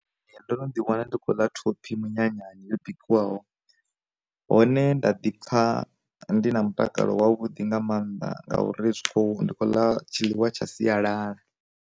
Ndo no ḓi wana ndi khou ḽa thophi minyanyani yo bikiwaho, hone nda ḓi pfa ndi na mutakalo wa vhuḓi nga mannḓa ngauri zwi kho ndi khou ḽa tshi ḽiwa tsha sialala.